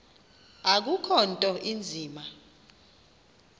akukho nto inzima